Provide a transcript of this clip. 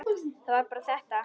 Það var bara þetta.